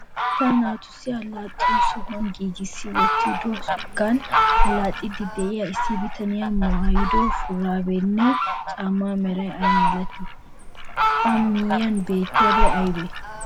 Asaa naatussi allaxxiyo sohuwa giggissi wottidoogan allaxxiidi de'iya issi bitanee maaydo shuraabiyanne caammaa meray ay malatii? A miyiyan beettiyabay aybee?